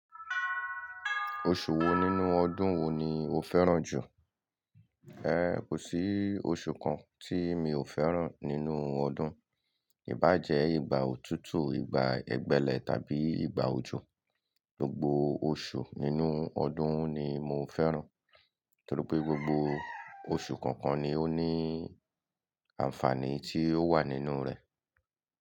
Oṣù wo nínú ọdún wo ni o fẹ́ràn jù? En, kò sí oṣù kan tí mi ò fẹ́ràn nínú ọdún, ìbá jẹ ìgbà òtútù, ìgbà ẹgbẹ́lẹ́ tàbí ìgbà òjò. Gbogbo oṣù nínú ọdún ni mo fẹ́ràn, torí pé gbogbo oṣù kọ̀ọ̀kan ni ó ní àǹfààní tí ó wà nínú rẹ̀.